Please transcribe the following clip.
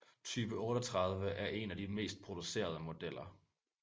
Type 38 er en af de mest producerede modeller